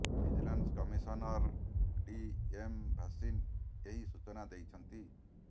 vigilance commissioner T M Bhasin ଏହି ସୂଚନା ଦେଇଛନ୍ତି